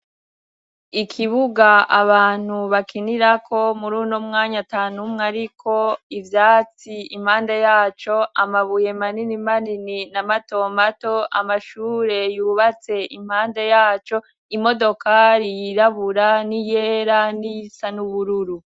Ikibuga abantu bakinirako muri uno mwanya atanumwe ariko, ivyatsi impande yaco, amabuye manini manini na matomato, amashure yubatse impande yaco, imodokari yirabura n'iyera n'iyisa n'ubururu.